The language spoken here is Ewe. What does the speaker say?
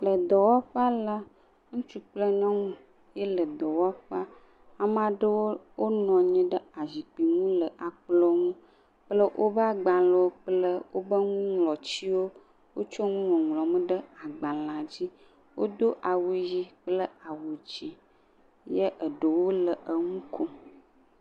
Le dɔwɔƒa la, ŋutsu kple nyɔnu ye le dɔwɔƒea, ame aɖewo wonɔ anyi ɖe azikpuiwo dzi le akplɔ ŋu kple woƒe agblẽwo kple nuŋlɔtiwo, wotsɔ nuŋlɔ nu ɖe agbalẽa dzi, wodo awu ʋi kple awu dzɛ̃ ye aɖewo le enu kom.